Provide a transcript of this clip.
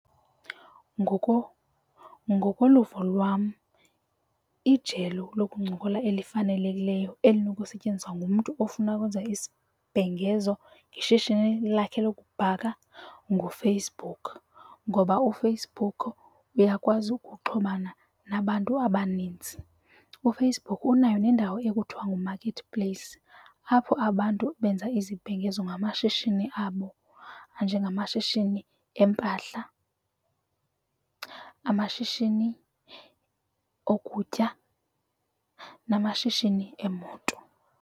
Ngokoluvo lwam ijelo lokuncokola elifanelekileyo elinokusetyenziswa ngumntu ofuna ukwenza isibhengezo ngeshishini lakhe lokubhaka nguFacebook, ngoba uFacebook uyakwazi ukuxhumana nabantu abaninzi. UFacebook unayo nendawo ekuthiwa nguMarket Place apho abantu benza izibhengezo ngamashishini abo njengamashishini eempahla, amashishini okutya namashishini eemoto.